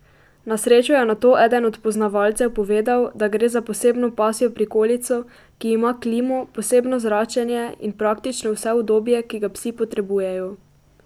Na srečo je nato eden od poznavalcev povedal, da gre za posebno pasjo prikolico, ki ima klimo, posebno zračenje in praktično vse udobje, ki ga psi potrebujejo.